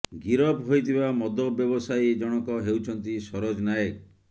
ଗିରଫ ହୋଇଥିବା ମଦ ବ୍ୟବସାୟୀ ଜଣକ ହେଉଛନ୍ତି ସରୋଜ ନାୟକ